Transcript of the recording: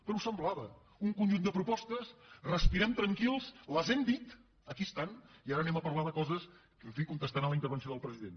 però ho semblava un conjunt de propostes respirem tranquils les hem dit aquí estan i ara parlem de coses en fi contestant la intervenció del president